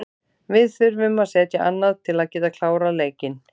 Við þurfum að setja annað til að geta klárað leikinn.